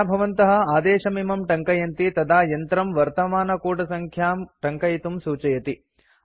यदा भवन्तः आदेशमिमं टङ्कयन्ति तदा यन्त्रं वर्तमानकूटसङ्ख्यां टङ्कयितुं सूचयति